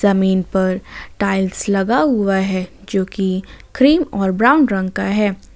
जमीन पर टाइल्स लगा हुआ है जो कि क्रीम और ब्राउन रंग का है।